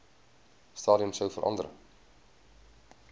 stadium sou verander